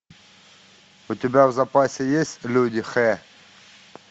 у тебя в запасе есть люди х